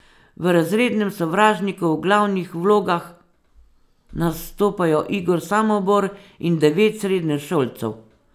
V Razrednem sovražniku v glavnih vlogah nastopajo Igor Samobor in devet srednješolcev.